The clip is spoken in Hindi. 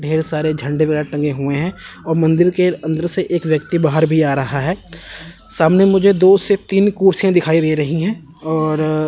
ढेर सारे झंडे बयार टंगे हुए हैं और मंदिर के अंदर से एक व्यक्ति बाहर भी आ रहा है सामने मुझे दो से तीन कुर्सियां दिखाई दे रही है और--